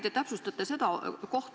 Aitäh!